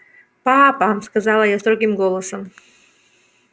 папа сказала я строгим голосом